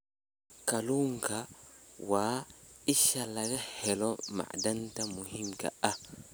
Kalluunku waa isha laga helo macdanta muhiimka ah.